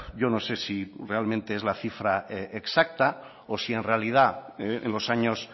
yo no sé si realmente es la cifra exacta o si en realidad en los años